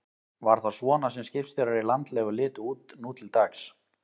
Var það svona sem skipstjórar í landlegu litu út nú til dags?